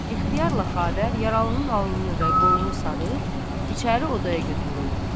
İxtiyarla Xavər yaralının alnını və qolunu sarıb, içəri odaya götürürlər.